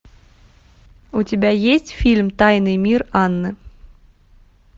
у тебя есть фильм тайный мир анны